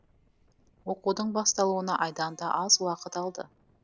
оқудың басталуына айдан да аз уақыт алды